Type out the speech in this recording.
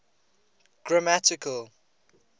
grammatical